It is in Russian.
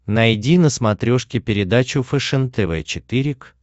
найди на смотрешке передачу фэшен тв четыре к